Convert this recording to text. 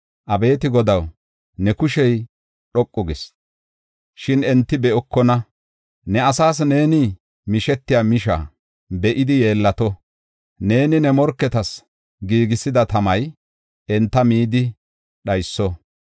Abeeti Godaw, ne kushey dhoqu gis; shin enti be7okona. Ne asaas neeni mishetiya misha be7idi yeellato. Neeni ne morketas giigisida tamay enta midi dhayso.